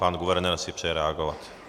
Pan guvernér si přeje reagovat.